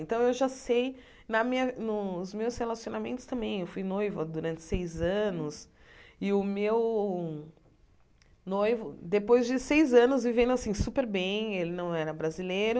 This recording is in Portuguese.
Então, eu já sei, na minha nos meus relacionamentos também, eu fui noiva durante seis anos e o meu noivo, depois de seis anos vivendo assim super bem, ele não era brasileiro,